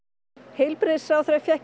heilbrigðisráðherra fékk